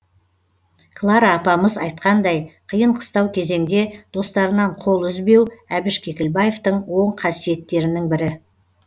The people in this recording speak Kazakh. клара апамыз айтқандай қиын қыстау кезеңде достарынан қол үзбеу әбіш кекілбаевтың оң қасиеттерінің бірі